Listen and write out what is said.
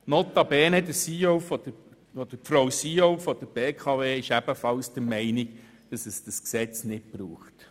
Notabene ist auch die CEO der BKW der Meinung, dass es dieses Gesetz nicht braucht.